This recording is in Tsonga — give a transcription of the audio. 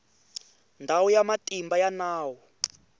ndhawu ya matimba ya nawu